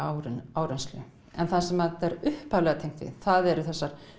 áreynslu en það sem er upphaflega tengt við það eru þessar